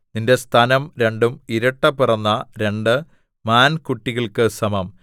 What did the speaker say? നിന്റെ സ്തനം രണ്ടും ഇരട്ടപിറന്ന രണ്ട് മാൻകുട്ടികൾക്ക് സമം